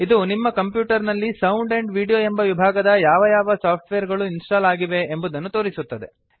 ಇದು ನಿಮ್ಮ ಕಂಪ್ಯೂಟರ್ ನಲ್ಲಿ ಸೌಂಡ್ ಆಂಡ್ ವಿಡಿಯೋ ಎಂಬ ವಿಭಾಗದ ಯಾವ ಯಾವ ಸಾಫ್ಟ್ವೇರ್ ಗಳು ಇನ್ಸ್ಟಾಲ್ ಆಗಿವೆ ಎಂಬುದನ್ನು ತೋರಿಸುತ್ತದೆ